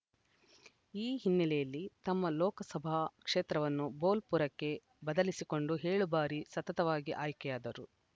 ಈ ಹಿನ್ನೆಲೆಯಲ್ಲಿ ತಮ್ಮ ಲೋಕಸಭಾ ಕ್ಷೇತ್ರವನ್ನು ಬೋಲ್‌ಪುರಕ್ಕೆ ಬದಲಿಸಿಕೊಂಡು ಏಳು ಬಾರಿ ಸತತವಾಗಿ ಆಯ್ಕೆಯಾದರು